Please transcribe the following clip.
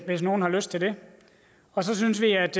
hvis nogen har lyst til det og så synes vi at